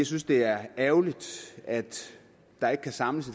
synes det er ærgerligt at der ikke kan samles